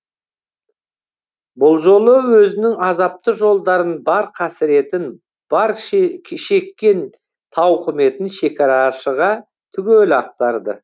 бұл жолы өзінің азапты жолдарын бар қасіретін бар шеккен тауқыметін шекарашыға түгел ақтарды